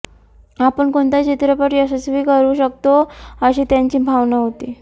आपण कोणताही चित्रपट यशस्वी करू शकतो अशी त्यांची भावना होती